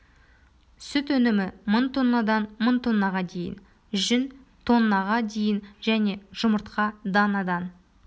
сүт өнімі мың тоннадан мың тоннаға дейін жүн тоннаға дейін және жұмыртқа данадан